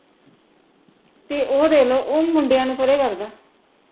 ਤੇ ਉਹ ਦੇਖ ਲੋ ਉਹ ਮੁੰਡਿਆਂ ਨੂੰ ਪਰੇ ਕਰਦਾ